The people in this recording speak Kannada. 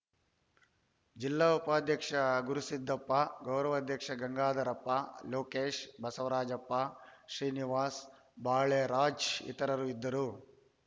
ಜಿಲ್ಲಾ ಉಪಾಧ್ಯಕ್ಷ ಗುರುಸಿದ್ದಪ್ಪ ಗೌರವಾಧ್ಯಕ್ಷ ಗಂಗಾಧರಪ್ಪ ಲೋಕೇಶ್‌ ಬಸವರಾಜಪ್ಪ ಶ್ರೀನಿವಾಸ್‌ ಬಾಳೆರಾಜ್‌ ಇತರರು ಇದ್ದರು